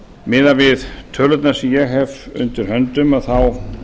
miðað við tölurnar sem ég hef undir höndum þá